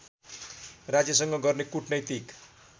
राज्यसँग गर्ने कुटनैतिक